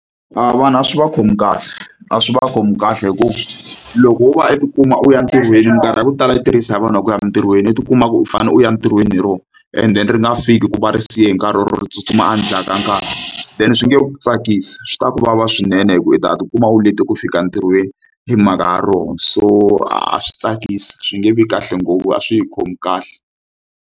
A vana swi va khomi kahle a swi va khomi kahle hi ku loko wo va u tikuma u ya entirhweni mikarhi ya ku tala yi tirhisa hi vanhu va ku ya entirhweni u tikuma u fanele u ya ntirhweni hi rona and then ri nga fiki ku va ri siye hi nkarhi or tsutsuma endzhaku ka nkarhi then swi nge tsakisi swi twa ku vava swinene hikuva u ta tikuma u lete ku fika entirhweni hi mhaka ya rona so a swi tsakisi swi nge vi kahle ngopfu a swi hi khomi kahle.